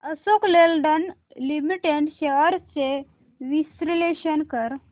Ashok Leyland limited shares चे विश्लेषण कर